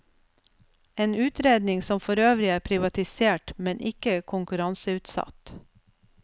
En utredning som forøvrig er privatisert, men ikke konkurranseutsatt.